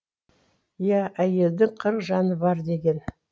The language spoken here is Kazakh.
иә әйелдің қырық жаны бар деген